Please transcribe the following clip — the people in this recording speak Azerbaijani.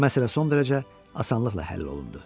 Məsələ son dərəcə asanlıqla həll olundu.